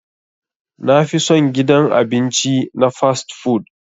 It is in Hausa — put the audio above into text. Na fi son gidan abinci na "fast-food".